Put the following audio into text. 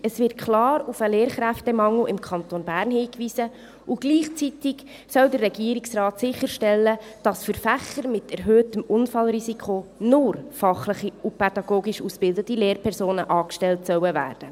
Es wird klar auf den Lehrkräftemangel im Kanton Bern hingewiesen, und gleichzeitig soll der Regierungsrat sicherstellen, dass für Fächer mit erhöhtem Unfallrisiko nur fachlich und pädagogisch ausgebildete Lehrpersonen angestellt werden sollen.